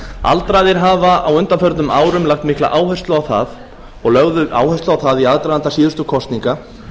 aldraðir hafa á undanförnum árum lagt mikla áherslu á það og lögðu áherslu á það í aðdraganda síðustu kosninga